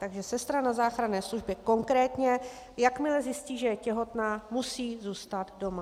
Takže sestra na záchranné službě konkrétně, jakmile zjistí, že je těhotná, musí zůstat doma.